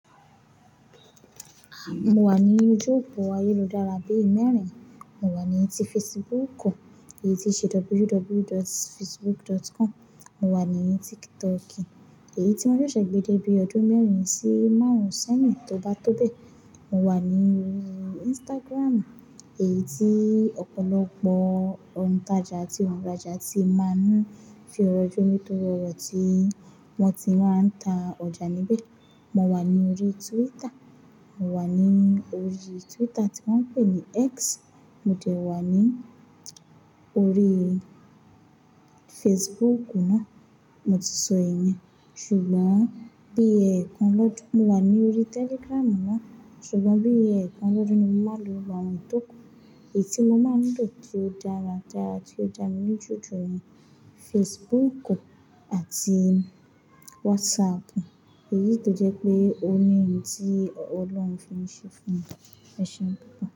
Mo wà ní orí oju opo ayélujára bí mẹ́rin, mo wà ní ti Facebook, èyí tí ṣe www.facebook.com, mo wà ní TikTok, èyí tí won ṣẹ̀ṣẹ̀ gbe de bí ọdún mẹ́rin sí márùn-ún sẹ́yin tó bá tó bẹ́ẹ̀. Mo wà ní Instagram, èyí tí ọ̀pọ̀lọpọ̀ ontaja àti òǹrajà tí máa ń fi orọ́ jomitóro oro tí wọ́n ti máa ń ta ọjà níbẹ̀. Mo wà ní orí Twitter, mo wà ní orí Twitter tí wọ́n ń pè ní X, mo dẹ̀ wà ní orí Facebook náà, mo ti sọ èyí, ṣùgbọ́n bí ẹ̀ẹ̀kan lọ́dún, mo wà ní orí Telegram náà, ṣùgbọ́n bí ẹ̀ẹ̀kan lọ́dún ni mo máa lò wá àwọn tó kù, èyí tí mo máa ń lò tí ó dára dára tí ó dà mí níju ju ẹni Facebook àti WhatsApp, èyí tó jẹ́ pé ó ní ohun tí ọlọ́run fi ń ṣe fún mi. Ẹṣeun pupo.